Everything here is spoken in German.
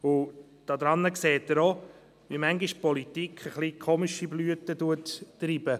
» Daran sehen Sie auch, wie die Politik manchmal etwas komische Blüten treibt.